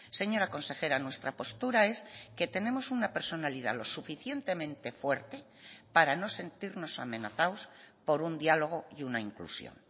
señora consejera nuestra postura es que tenemos una personalidad lo suficientemente fuerte para no sentirnos amenazados por un diálogo y una inclusión